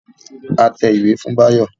A tẹ ìwé fún Báyọ̀